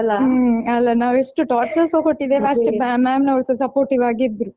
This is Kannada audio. ಹ್ಮ್ ಅಲಾ ನಾವೆಷ್ಟು torture ಸ ಕೊಟ್ಟಿದ್ದೇವೆ ಅಷ್ಟು ma'am ನವರುಸ supportive ಆಗಿ ಇದ್ರು.